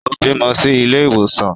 Ó bímọ sí ilé ìwòsàn